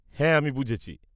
হ্যাঁ, আমি বুঝেছি।